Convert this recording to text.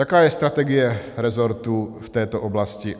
Jaká je strategie resortu v této oblasti?